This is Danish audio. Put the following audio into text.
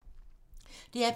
DR P3